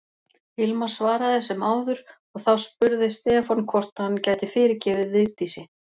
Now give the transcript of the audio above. Hilmar svaraði sem áður og þá spurði Stefán hvort hann gæti fyrirgefið Vigdísi.